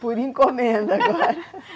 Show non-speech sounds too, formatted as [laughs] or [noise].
[laughs] Por encomenda agora [laughs]